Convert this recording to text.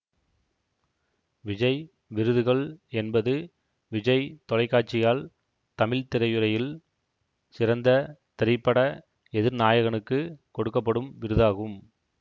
விஜய் விருதுகள் என்பது விஜய் தொலைக்காட்சியால் தமிழ் திரைத்துறையில் சிறந்த திரைப்பட எதிர்நாயகனுக்கு கொடுக்க படும் விருதாகும்